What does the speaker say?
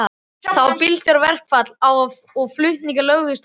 Það var bílstjóraverkfall og flutningar lögðust af.